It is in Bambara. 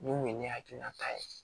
Mun kun ye ne hakilinata ye